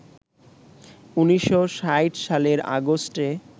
১৯৬০ সালের আগস্টে